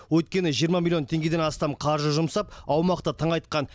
өйткені жиырма миллион теңгеден астам қаржы жұмсап аумақты тыңайтқан